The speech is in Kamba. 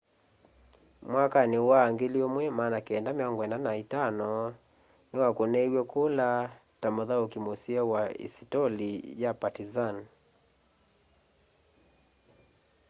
mwakanĩ wa 1995 nĩwakũnĩiwe kũla ta mũthaũkĩ mũseo wa isitoli ya partĩzan